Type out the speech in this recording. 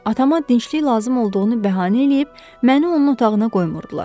Atama dinclik lazım olduğunu bəhanə eləyib, məni onun otağına qoymurdular.